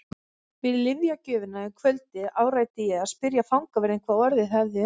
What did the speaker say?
Við lyfjagjöfina um kvöldið áræddi ég að spyrja fangavörðinn hvað orðið hefði um hann.